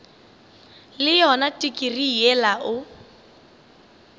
le yona tikirii yela o